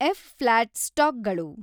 F. Flat ಸ್ಟಾಕ್ಗಳು